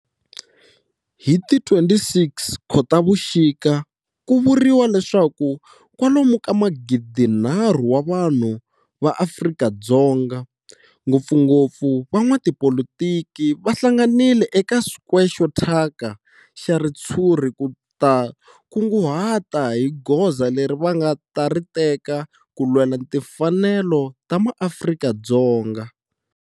Hi ti 26 Khotavuxika ku vuriwa leswaku kwalomu ka magidinharhu wa vanhu va Afrika-Dzonga, ngopfungopfu van'watipolitiki va hlanganile eka square xo thyaka xa ritshuri ku ta kunguhata hi goza leri va nga ta ri teka ku lwela timfanelo ta maAfrika-Dzonga.